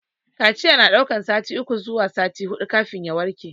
Kaciya na daukar sati uku zuwa sati hudu kafin ya warke.